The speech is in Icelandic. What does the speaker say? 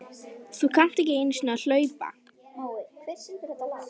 Þú kannt ekki einu sinni að hlaupa